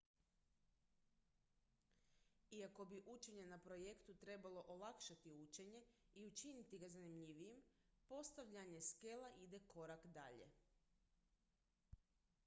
iako bi učenje na projektu trebalo olakšati učenje i učiniti ga zanimljivijim postavljanje skela ide korak dalje